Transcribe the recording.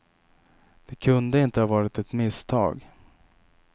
Det kunde inte ha varit ett misstag.